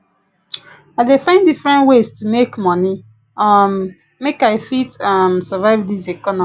i dey find different ways to make moni um make i fit um survive dis economy